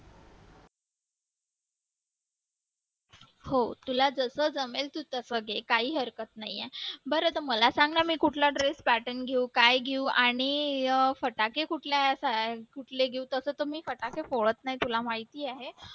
हो तुला जसं जमेल तू तसं घे काही हरकत नाही आहे बरं तू मला सांग ना मी कुठला dress pattern घेऊ काय घेऊ आणि फटाके कुठल्या कुठल्या घेऊ तसे तर मी फटाके फोडत नाही तुला माहिती आहे